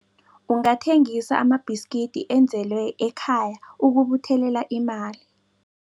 Ungathengisa amabhiskidi enzelwe ekhaya ukubuthelela imali.